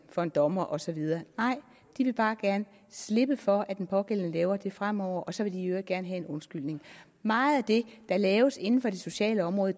for en dommer og så videre nej de vil bare gerne slippe for at den pågældende laver det fremover og så vil de i øvrigt gerne have en undskyldning meget af det der laves inden for det sociale område